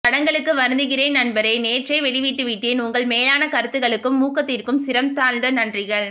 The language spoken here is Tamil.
தடங்கலுக்கு வருந்துகிறேன் நண்பரே நேற்றே வெளிட்டுவிட்டேன் உங்கள் மேலான கருத்துக்களுக்கும் ஊக்கத்திற்கும் சிரம் தாழ்ந்த நன்றிகள்